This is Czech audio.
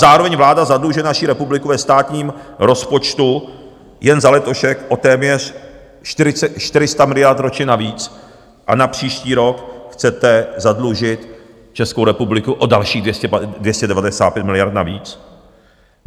Zároveň vláda zadlužuje naši republiku ve státním rozpočtu jen za letošek o téměř 400 miliard ročně navíc a na příští rok chcete zadlužit Českou republiku o dalších 295 miliard navíc.